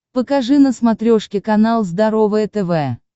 покажи на смотрешке канал здоровое тв